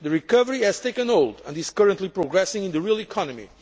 The recovery has taken hold and is currently progressing in the real economy.